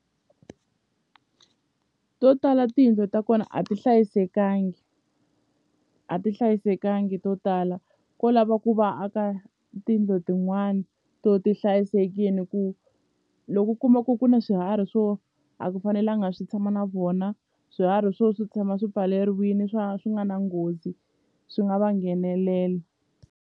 To tala tiyindlu ta kona a ti hlayisekanga a ti hlayisekanga to tala ko lava ku va aka tiyindlo tin'wana to ti hlayisekile ku loko u kuma ku ku na swiharhi swo a ku fanelanga swi tshama na vona swiharhi swo swi tshama swi pfaleriwile swa swi nga na nghozi swi nga va nghenelela.